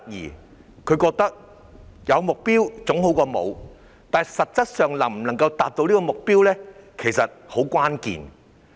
市民覺得有目標總比沒有好，但關鍵在於能否達成目標。